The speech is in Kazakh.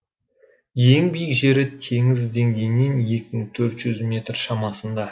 ең биік жері теңіз деңгейінен екі мың төрт жүз метр шамасында